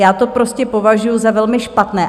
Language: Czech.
Já to prostě považuji za velmi špatné.